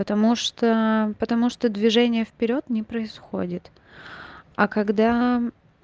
потому что потому что движение вперёд не происходит а когда